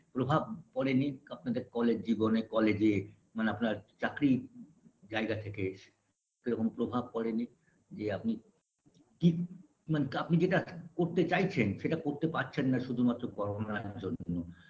প্রভাব পড়েননি আপনাদের college জীবনে college -এ মানে আপনার চাকরি জায়গা থেকে এসে সেরকম প্রভাব পড়েনি যে আপনি কি মানে আপনি যেটা করতে চাইছেন সেটা করতে পারছেন না শুধুমাত্র করোনার জন্য